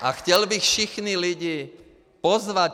A chtěl bych všechny lidi pozvat.